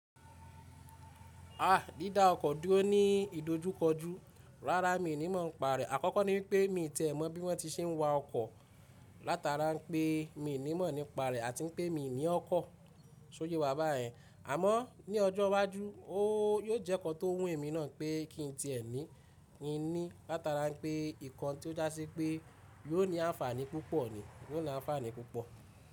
Ah! Dídá ọkọ̀ dúró ní ìdojúkọjú, rárá mi ò ní mọ̀ nípa rẹ̀. Àkọ́kọ́ ní wipé mii tiẹ̀ mọ́ bí wọ́n ti ṣe ń wa ọkọ̀, látara n pé mii ní mọ̀ nípa rẹ̀ àti n pé mii ní ọkọ̀ s'óye wà báyen. Àmọ́ ní ọjọ́ iwájú, ó yóò jẹ́ nnkan tó wùn èmi náà n pé kí n tíẹ ni ní, látara pé nnkan tó já sí pé yóò ní àǹfààní púpọ̀ ni, yóò ní àǹfààní púpọ̀.